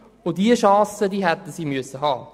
Diese Chance hätten sie haben sollen.